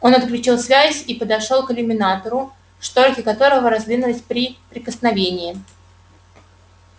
он отключил связь и подошёл к иллюминатору шторки которого раздвинулись при прикосновении